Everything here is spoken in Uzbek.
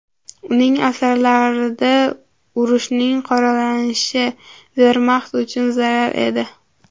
Uning asarlarida urushning qoralanishi Vermaxt uchun zarar edi.